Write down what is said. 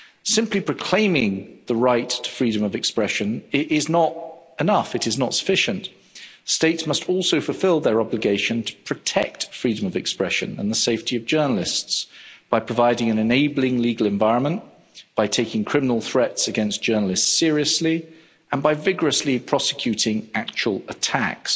Simply proclaiming the right to freedom of expression is not enough it is not sufficient. States must also fulfil their obligation to protect freedom of expression and the safety of journalists by providing an enabling legal environment, by taking criminal threats against journalists seriously, and by vigorously prosecuting actual attacks.